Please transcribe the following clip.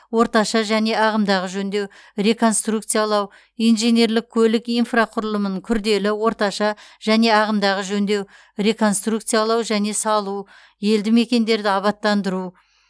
орташа және ағымдағы жөндеу реконструкциялау инженерлік көлік инфрақұрылымын күрделі орташа және ағымдағы жөндеу реконструкциялау және салу елді мекендерді абаттандыру